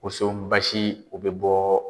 Woso basi , o bɛ bɔ